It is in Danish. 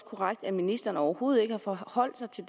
korrekt at ministeren overhovedet ikke har forholdt sig til